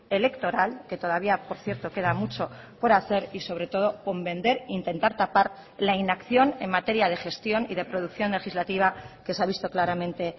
electoral que todavía por cierto queda mucho por hacer y sobre todo con vender intentar tapar la inacción en materia de gestión y de producción legislativa que se ha visto claramente